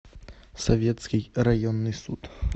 советский районный суд